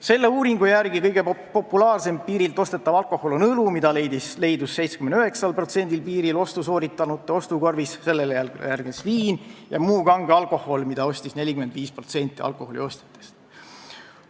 Selle uuringu järgi on kõige populaarsem piirilt ostetav alkoholiliik õlu, mida leidus 79% piiril ostu sooritanute ostukorvis, sellele järgnes viin ja muu kange alkohol, mida ostis 45% alkoholiostjatest.